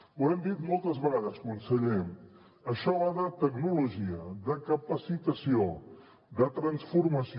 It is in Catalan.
ho hem dit moltes vegades conseller això va de tecnologia de capacitació de transformació